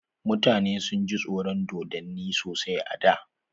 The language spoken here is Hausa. Mutane sun ji tsoron dodonni sasai a da.